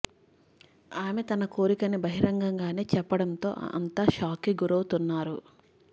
ఆమె తన కోరికని బహిరంగంగానే చెప్పడంతో అంతా షాక్ కి గురవుతున్నారు